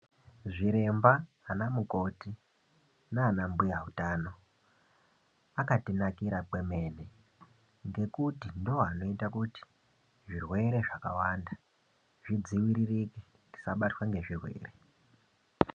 Zviremba, ana mukoti naana mbuya uthano akatinakira kwemene ngekuti ndiwo anoita kuti zvirwere zvakawanda zvidziririke tisabatwa ngezvirwere.